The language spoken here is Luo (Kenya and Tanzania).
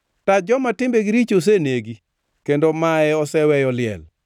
“Tach joma timbegi richo osenegi; kendo mae oseweyo liel.